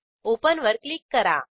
open वर click करा